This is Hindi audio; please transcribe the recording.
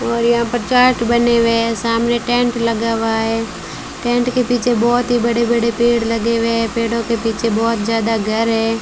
और यहां पर चाट बने हुए है सामने टेंट लगा हुआ है टेंट के पीछे बहोत ही बड़े बड़े पेड़ लगे हुए है पेड़ों के पीछे बहोत ज्यादा घर है।